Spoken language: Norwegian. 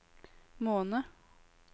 måned